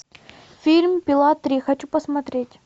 фильм пила три хочу посмотреть